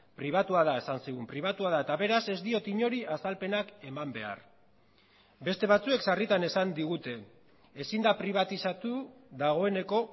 pribatua da esan zigun pribatua da eta beraz ez diot inori azalpenak eman behar beste batzuek sarritan esan digute ezin da pribatizatu dagoeneko